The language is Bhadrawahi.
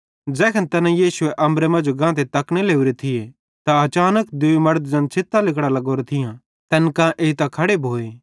ज़ैखन तैना यीशुए अम्बरे मांजो गांतो तकने लोरे थिये त अचानक दूई मड़द ज़ैन छ़ित्तां लिगड़ां लग्गोरां थियां तैन कां एइतां खड़े भोए